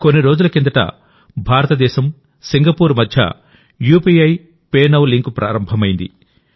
కొన్ని రోజుల కిందటభారతదేశం సింగపూర్ మధ్య యూపీఐ పే నౌ లింకు ప్రారంభమైంది